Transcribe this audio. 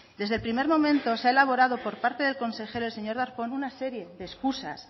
desde el primer momento se ha elaborado por parte del consejero el señor darpón una serie de escusas